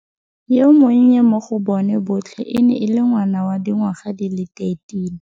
Yo monnye mo go bona botlhe e ne e le ngwana wa dingwaga di le 13.